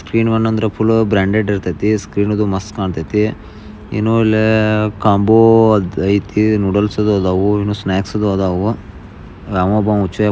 screen one ಅಂದ್ರೆ ಅದು ತುಂಬಾ ಬ್ರಾಂಡೆಡ್ ಇರುತೈತಿ ಸ್ಕ್ರೀನ್ ಅದು ಮಸ್ತ ಕಾಣ್ತೈತಿ ಸ್ಕ್ರೀನಲ್ಲೇ ಕಾಂಬೋ ಅದು ನೂಡಲ್ಸ್ ಇದ್ದವು ಸ್ನಾಕ್ಸ್ ಅದವು ಯಾವೋ ಒಬಾವ್ --